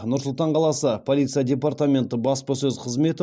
нұр слтан қаласы полиция департаменті баспасөз қызметі